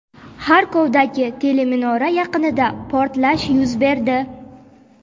Xarkovdagi teleminora yaqinida portlash yuz berdi.